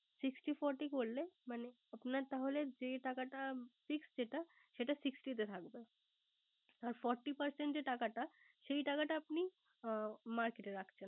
Sixty forty করলে মানে আপনার তাহলে যে টাকাটা Fixed যেটা সেটা Sixty তে থাকবে। আর Forty percent যে টাকাটা আপনি Market এ রাখবেন।